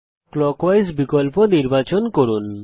clockwise বিকল্প নির্বাচন করুন